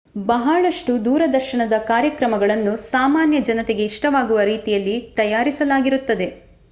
ಬಹಳಷ್ಟು ದೂರದರ್ಶನ ಕಾರ್ಯಕ್ರಮಗಳನ್ನು ಸಾಮಾನ್ಯ ಜನತೆಗೆ ಇಷ್ಟವಾಗುವ ರೀತಿಯಲ್ಲಿ ತಯಾರಿಸಲಾಗಿರುತ್ತದೆ